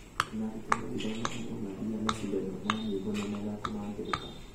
ona arutwo magĩthomaga no mathiaga macindano ma nyĩmbo na mathako ma ngerekano.